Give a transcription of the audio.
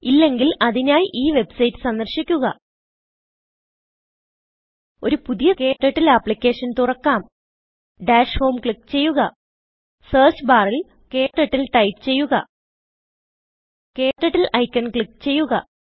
ഇല്ലെങ്കിൽ അതിനായി ഈ വെബ്സൈറ്റ് സന്ദർശിക്കുക ഒരു പുതിയ ക്ടർട്ടിൽ ആപ്ലിക്കേഷൻ തുറക്കാം ഡാഷ് homeക്ലിക്ക് ചെയ്യുക സെർച്ച് ബാറിൽ KTurtleടൈപ്പ് ചെയ്യുക KTurtleഐക്കൺ ക്ലിക്ക് ചെയ്യുക